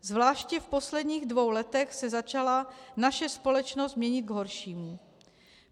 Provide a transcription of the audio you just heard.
Zvláště v posledních dvou letech se začala naše společnost měnit k horšímu.